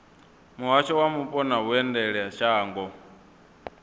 muhasho wa mupo na vhuendelamashango deat